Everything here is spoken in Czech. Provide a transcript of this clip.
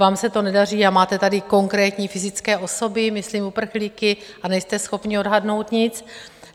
Vám se to nedaří, a máte tady konkrétní fyzické osoby, myslím uprchlíky, a nejste schopni odhadnout nic.